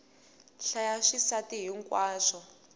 hlaya swisasi hi nkwaswo